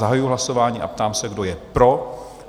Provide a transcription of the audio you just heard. Zahajuji hlasování a ptám se, kdo je pro?